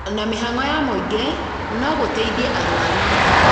na mĩhang'o ya mũingĩ no gũteithie arwaru